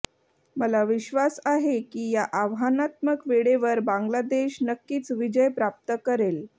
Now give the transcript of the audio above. मला विश्वास आहे की या आव्हानात्मक वेळेवर बांगलादेश नक्कीच विजय प्राप्त करेल